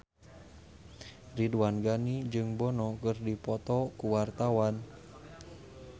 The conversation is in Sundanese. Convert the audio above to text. Ridwan Ghani jeung Bono keur dipoto ku wartawan